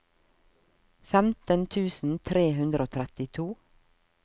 femten tusen tre hundre og trettito